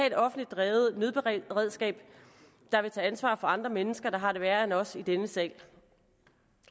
et offentligt drevet nødberedskab der vil tage ansvar for andre mennesker der har det værre end os i denne sal